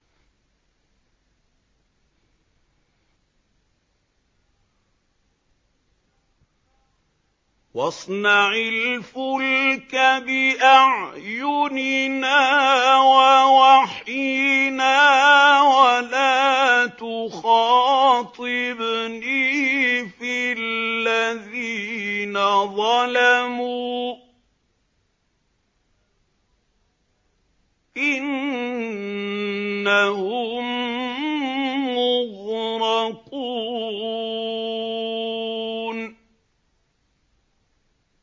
وَاصْنَعِ الْفُلْكَ بِأَعْيُنِنَا وَوَحْيِنَا وَلَا تُخَاطِبْنِي فِي الَّذِينَ ظَلَمُوا ۚ إِنَّهُم مُّغْرَقُونَ